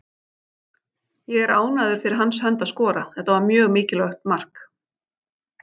Ég er ánægður fyrir hans hönd að skora, þetta var mjög mikilvægt mark.